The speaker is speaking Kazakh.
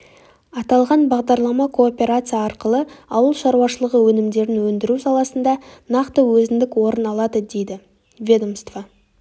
аталған бағдарлама кооперация арқылы ауыл шаруашылығы өнімдерін өндіру саласында нақты өзіндік орын алады дейді ведомство